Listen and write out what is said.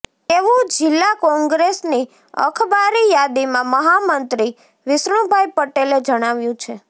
તેવુ જિલ્લા કોંગ્રેસની અખબારી યાદીમા મહામંત્રી વિષ્ણુભાઇ પટેલે જણાવ્યુ છે